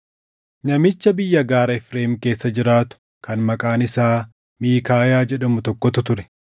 Namicha biyya gaara Efreem keessa jiraatu kan maqaan isaa Miikaayaa jedhamu tokkotu ture;